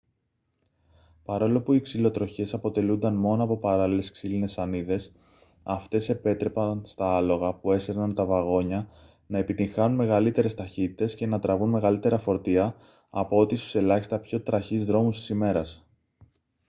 παρόλο που οι ξυλοτροχιές αποτελούνταν μόνο από παράλληλες ξύλινες σανίδες αυτές επέτρεπαν στα άλογα που έσερναν τα βαγόνια να επιτυγχάνουν μεγαλύτερες ταχύτητες και να τραβούν μεγαλύτερα φορτία από ό,τι στους ελάχιστα πιο τραχείς δρόμους της ημέρας